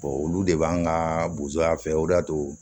olu de b'an ka bozoy'an fɛ o de y'a to